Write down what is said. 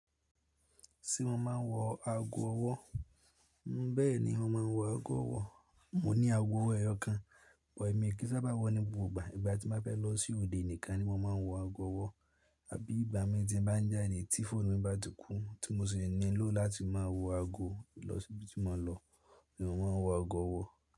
Ṣé mo máa ń wọ ago ọwọ́? Bẹ́ẹ̀ni, mo máa ń wọ ago ọwọ́. Mo ní ago ọwọ́ ẹyọ kan, bọ èmi kí sá bá wọ̀ ní gbogbo ìgbà. Ìgbà tí mo bá fẹ́ lọ sí òde nìkan ni mo máa ń wọ ago ọwọ́. Àbí ìgbà mi tí n bá ń já de, tí fóònù mi bá ti kú tí mo sì ní ló láti máa wọ ago lọ sí ibi tí mo lọ ni mo máa ń wọ ago ọwọ́